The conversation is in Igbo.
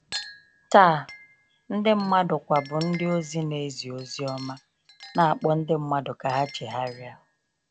Taa, ndị mmadụ kwa bụ ndị ozi na ezi ozioma, na akpọ ndị mmadụ ka ha chegharịa.